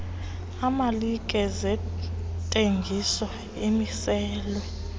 emalike zentengiso amiselwe